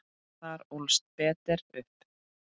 Þar ólst Peder upp.